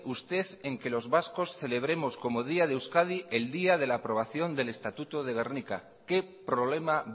usted en que los vascos celebremos como día de euskadi el día de la aprobación del estatuto de gernika qué problema